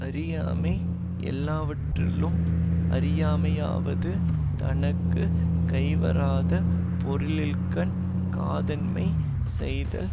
அறியாமை யெல்லாவற்றுள்ளும் அறியாமையாவது தனக்கு கைவராத பொருளின்கண் காதன்மை செய்தல்